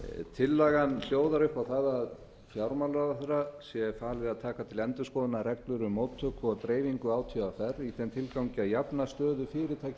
tillagan hljóðar upp á það að fjármálaráðherra sé falið að taka til endurskoðunar reglur um móttöku og dreifingu átvr í þeim tilgangi að jafna stöðu fyrirtækja